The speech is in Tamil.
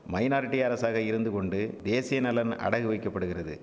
மைனாரிட்டி அரசாக இருந்துகொண்டு தேசியநலன் அடகுவைக்கப்படுகிறது